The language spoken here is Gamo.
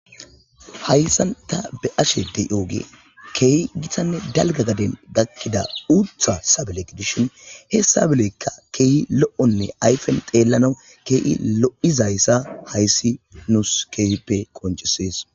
hayssanta be'ashe dey ooge keehi gitanne dalga gaden gakkida uutha sabelek dishin hessabelekka keehi lo7onne ayfen xeellanawu kee7i lo7izayssa hayssi nuus keehippe qoncesees